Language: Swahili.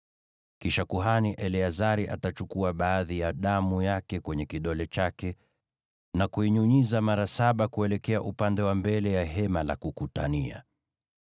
Kisha kuhani Eleazari atachukua baadhi ya damu yake kwenye kidole chake na kuinyunyiza mara saba kuelekea upande wa mbele ya Hema la Kukutania.